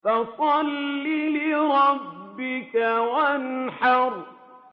فَصَلِّ لِرَبِّكَ وَانْحَرْ